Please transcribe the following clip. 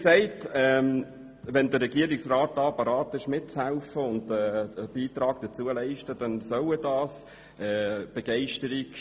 Sollte der Regierungsrat bereit sein, bei diesem Vorstoss mitzuhelfen und einen Beitrag dazu zu leisten, dann soll er das machen.